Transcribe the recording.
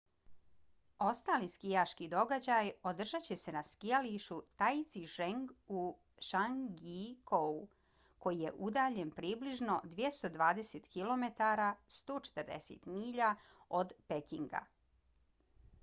ostali skijaški događaji održat će se na skijalištu taizicheng u zhangjiakouu koji je udaljen približno 220 km 140 milja od pekinga